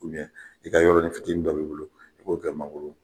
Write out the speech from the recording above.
I ka yɔrɔnin fitiinin dɔ b'i bolo i b'o kɛ mangoro.